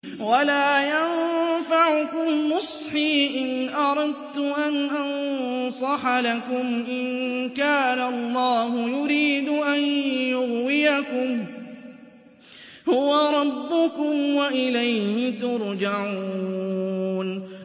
وَلَا يَنفَعُكُمْ نُصْحِي إِنْ أَرَدتُّ أَنْ أَنصَحَ لَكُمْ إِن كَانَ اللَّهُ يُرِيدُ أَن يُغْوِيَكُمْ ۚ هُوَ رَبُّكُمْ وَإِلَيْهِ تُرْجَعُونَ